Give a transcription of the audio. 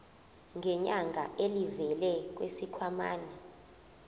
ngenyanga elivela kwisikhwama